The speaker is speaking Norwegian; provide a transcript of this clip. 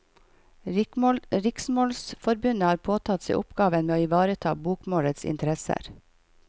Riksmålsforbundet har påtatt seg oppgaven med å ivareta bokmålets interesser.